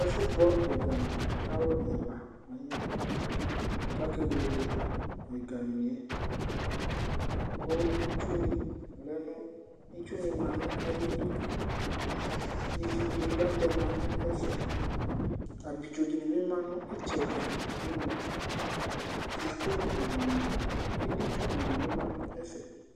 Ɛfʋgbɔ ɛgami ku alu ɛla aya ku akewele ɛgamie Itsuní manʋ ayʋiɖu Ividìníbi atɛmanʋ ɛfɛ Abidzo dìníbi manʋ itsɛɖi ɖʋŋʋ kokotsuɖìní Edítsuɖìníbi manʋɛƒɛ